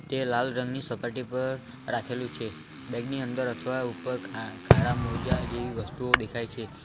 એ લાલ રંગની સપાટી પર રાખેલું છે બેગ ની અંદર અથવા ઉપર કા કાળા મોજા જેવી વસ્તુઓ દેખાય છે.